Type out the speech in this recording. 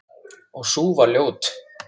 Og sú var ljót!